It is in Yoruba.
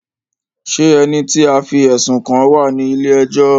Ṣé ẹni tí a fí ẹ̀sùn kàn wá ní ilé ẹjọ́?